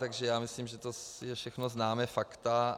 Takže já myslím, že to jsou všechna známá fakta.